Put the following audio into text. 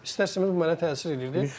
Mən də istər-istəməz bu mənə təsir edirdi.